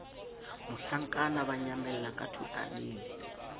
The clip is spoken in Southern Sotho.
mohlankana ba nyamella ka thotaneng